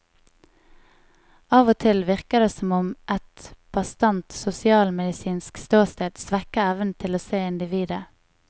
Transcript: Av og til virker det som om et bastant sosialmedisinsk ståsted svekker evnen til å se individet.